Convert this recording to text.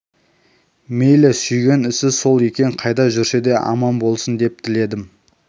мейлі сүйген ісі сол екен қайда жүрсе де аман болсын деп тіледім